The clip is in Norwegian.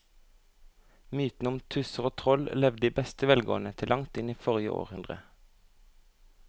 Mytene om tusser og troll levde i beste velgående til langt inn i forrige århundre.